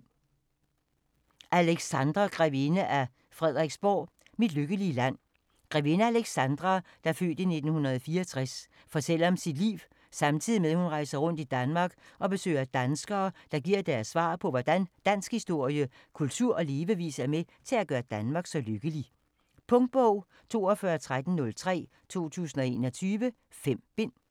Alexandra grevinde af Frederiksborg: Mit lykkelige land Grevinde Alexandra (f. 1964) fortæller om sit liv, samtidig med hun rejser rundt i Danmark og besøger danskere, der giver deres svar på, hvordan dansk historie, kultur og levevis er med til at gøre Danmark så lykkelig. Punktbog 421303 2021. 5 bind.